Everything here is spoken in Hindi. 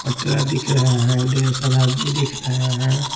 पटरा दिख रहा है ढेर सारा आदमी दिख रहे हैं।